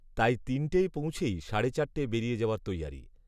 তাই তিনটেয় পৌঁছেই সাড়ে চারটেয় বেরিয়ে যাওয়ার তৈয়ারি